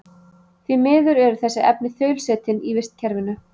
Því miður eru þessi efni þaulsetin í vistkerfinu.